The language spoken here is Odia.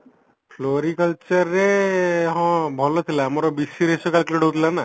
floricultureରେ ହଁ ଭଲ ଆମର BCSC ରେ calculated ହଉଥିଲା ନାଁ